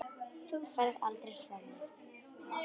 Þú ferð aldrei frá mér.